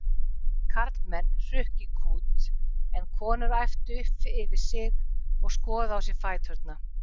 Karlmenn hrukku í kút en konur æptu upp yfir sig og skoðuðu á sér fæturna.